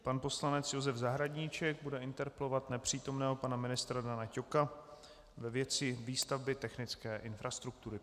Pan poslanec Josef Zahradníček bude interpelovat nepřítomného pana ministra Dana Ťoka ve věci výstavby technické infrastruktury.